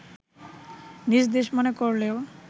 নিজ দেশ মনে করলেও